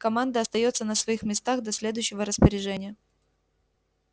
команда остаётся на своих местах до следующего распоряжения